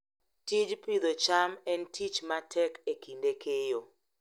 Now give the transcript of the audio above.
Tij Pidhoo cham en tich matek e kinde keyo